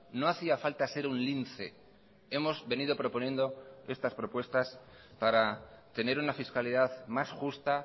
no hacía falta ser un lince hemos venido proponiendo estas propuestas para tener una fiscalidad más justa